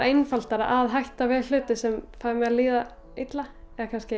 einfaldara að hætta við hluti sem fá mig til að líða illa